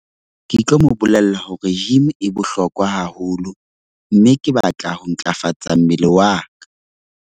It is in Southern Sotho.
Ke tlo mo bolella hore gym e bohlokwa haholo, mme ke batla ho ntlafatsa mmele wa ka.